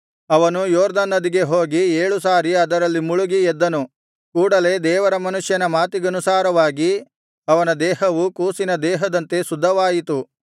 ಅವನು ಯೊರ್ದನ್ ನದಿಗೆ ಹೋಗಿ ಏಳು ಸಾರಿ ಅದರಲ್ಲಿ ಮುಳುಗಿ ಎದ್ದನು ಕೂಡಲೆ ದೇವರ ಮನುಷ್ಯನ ಮಾತಿಗನುಸಾರವಾಗಿ ಅವನ ದೇಹವು ಕೂಸಿನ ದೇಹದಂತೆ ಶುದ್ಧವಾಯಿತು